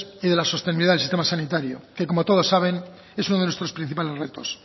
y de la sostenibilidad en el sistema sanitario que como todos saben es uno de nuestros principales retos